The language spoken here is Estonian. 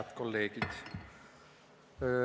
Head kolleegid!